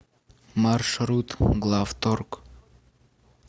маршрут главторг